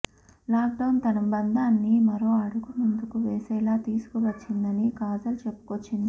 lockdown తమ బంధాన్ని మరో అడుగు ముందుకు వేసేలా తీసుకువచ్చిందని కాజల్ చెప్పుకొచ్చింది